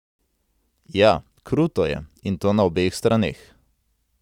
Ja, kruto je, in to na obeh straneh.